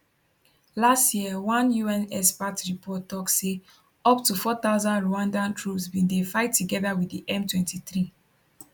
last year one un expert report tok say up to 4000 rwandan troops bin dey fight togeda wit di m23